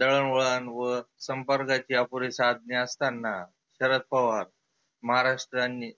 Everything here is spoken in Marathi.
दळन वळन व संपर्काचे अपुरे साधने असताना शरद पवार महाराष्ट्रांनी